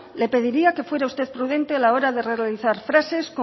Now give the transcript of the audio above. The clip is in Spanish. le pediría que fuera usted prudente a la hora de realizar frases